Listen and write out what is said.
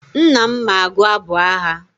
Nna m ma agụ abụ agha.